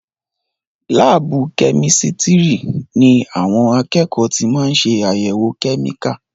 Láàbù kẹ́mísirì ní àwọn akẹ́kọ̀ọ́ tí máa ń ṣé àyèwò kẹ́míkà.